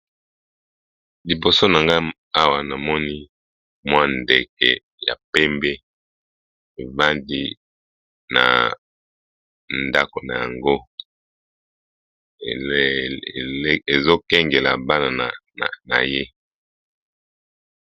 Liboso na nga awa, namoni mwa ndeke ya pembe, evandi na ndako na yango. Ezo kengela bana na ye